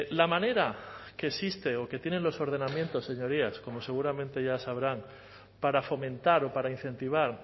la manera que existe o que tienen los ordenamientos señorías como seguramente ya sabrán para fomentar o para incentivar